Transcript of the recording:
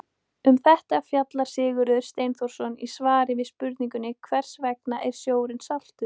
Efnið sem þannig streymir á miklum hraða frá smástirninu ýtir smástirninu hægt en örugglega burt.